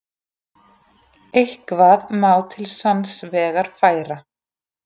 Eitthvað má til sanns vegar færa